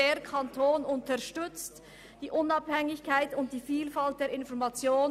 «Der Kanton unterstützt die Unabhängigkeit und die Vielfalt der Information.»